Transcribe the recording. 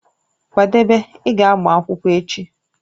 Kwadebe, ị ga agba akwụkwọ echi!